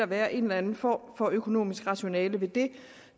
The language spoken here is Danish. være en eller anden form for økonomisk rationale ved det